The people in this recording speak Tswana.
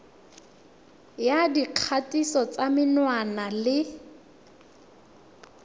ya dikgatiso tsa menwana le